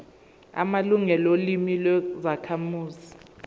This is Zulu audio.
amalungelo olimi lwezakhamuzi